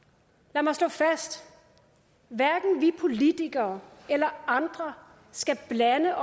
lad mig slå fast hverken vi politikere eller andre skal blande